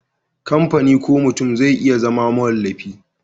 kamfani ko mutum zai iya zama mawallafi